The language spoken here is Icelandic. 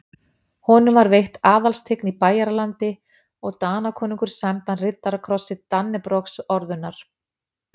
Honum var veitt aðalstign í Bæjaralandi og Danakonungur sæmdi hann riddarakrossi Dannebrogsorðunnar.